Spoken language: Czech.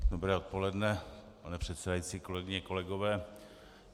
Dobré odpoledne, pane předsedající, kolegyně, kolegové.